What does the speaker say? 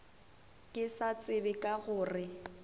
ke sa tsebe ka gore